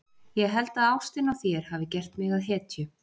Ég held að ástin á þér hafi gert mig að hetju.